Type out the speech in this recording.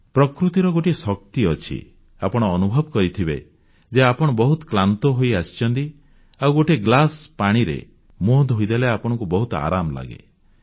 ପ୍ରକୃତିର ଗୋଟିଏ ଶକ୍ତି ଅଛି ଆପଣ ଅନୁଭବ କରିଥିବେ ଯେ ଆପଣ ବହୁତ କ୍ଳାନ୍ତ ହୋଇଆସିଛନ୍ତି ଆଉ ଗୋଟିଏ ଗ୍ଲାସ ପାଣିରେ ମୁହଁ ଧୋଇଦେଲେ ଆପଣଙ୍କୁ ବହୁତ ଆରାମ ଲାଗେ